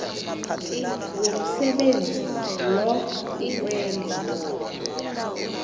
womsebenzi lo kukwenza